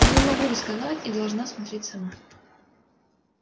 я не могу рисковать и должна смотреть сама